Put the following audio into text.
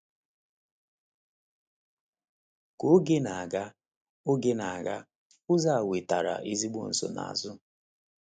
Ka oge na-aga, oge na-aga, ụzọ a wetara ezigbo nsonaazụ.